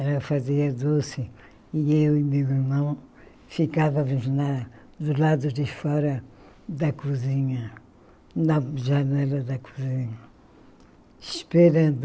Ela fazia doce e eu e meu irmão ficávamos na do lado de fora da cozinha, na janela da cozinha, esperando.